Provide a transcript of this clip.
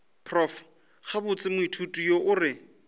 prof gabotse moithuti yo re